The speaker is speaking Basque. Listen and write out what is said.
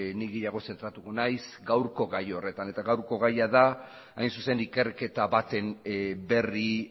nik gehiago zentratuko naiz gaurko gai horretan eta gaurko gaia da hain zuzen ikerketa baten berri